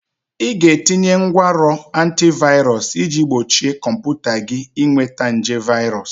Ị ga-etinye ngwanrọ antivirus iji gbochie kọmputa gị ịnweta nje virus